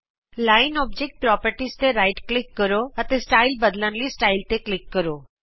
ਰੇਖਾ ਤੇ ਸੱਜਾ ਕਲਿਕ ਕਰੋ ਔਬਜੇਕਟ ਪੋ੍ਰਪਰਟੀਜ਼ ਤੇ ਕਲਿਕ ਕਰੋ ਸਟਾਈਲ ਬਦਲਨ ਲਈ ਸਟਾਈਲ ਤੇ ਕਲਿਕ ਕਰੋ